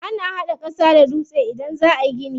Ana hada ƙasa da dutse idan za ayi gini.